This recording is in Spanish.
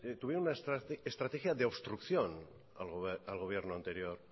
tuvieron una estrategia de obstrucción al gobierno anterior